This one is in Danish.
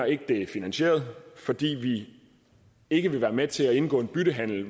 ikke er finansieret og fordi vi ikke vil være med til at indgå en byttehandel